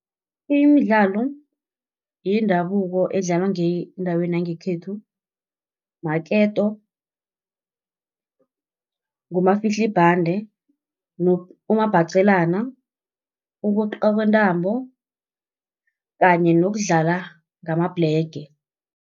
Imidlalo yendabuko edlalwa ngendaweni yangekhethu, maketo, ngumafihlibhande, umabhaqelana, ukweqiwa kwentambo kanye nokudlala ngamabhlege.